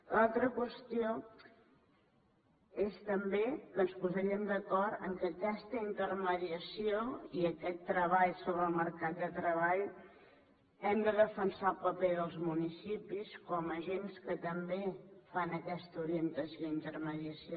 l’altra qüestió és també que ens posaríem d’acord que en aquesta intermediació i en aquest treball sobre el mercat de treball hem de defensar el paper dels municipis com agents que també fan aquesta orientació i intermediació